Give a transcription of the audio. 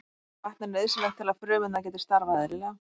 Vatn er nauðsynlegt til að frumurnar geti starfað eðlilega.